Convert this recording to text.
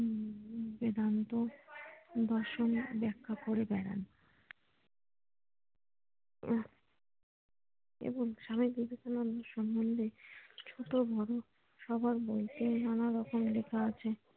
বেদান্ত বাসন ব্যাখ্যা করে বেড়ান ও এবং স্বামী বিবেকানন্দ সম্মন্ধে ছোট বড় সবার বয়সে নানারকম লেখা আছে